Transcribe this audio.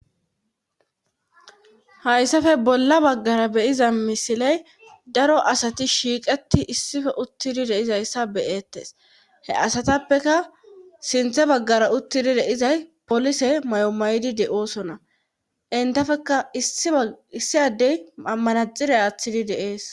hayssafe bolla baggara be'iza misiley daro asati shiiqeti issife uttidi de'izayssa beyeettes he asatappeka sinthe baggara uttidi deizay polise mayo mayidi de'oosona intafeka issi addey mammanaxire aaththidi de'ees